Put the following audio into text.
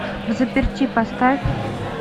взаперти поставь